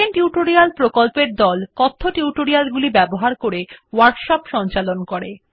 spoken tutorial প্রকল্পর দল কথ্য টিউটোরিয়াল গুলি ব্যবহার করে ওয়ার্কশপ সঞ্চালন করে